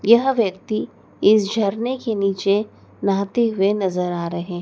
यह व्यक्ति इस झरने के नीचे नहाते हुए नजर आ रहे हैं।